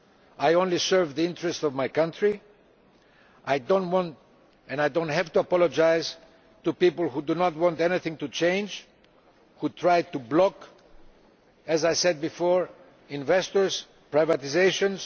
I only serve the interests of my country, and I do not have to apologise to people who do not want anything to change and who tried to block as I said before investors and privatisations.